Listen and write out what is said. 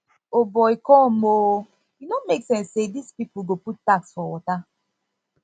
o boy come oo e no make sense say dis people go put tax for water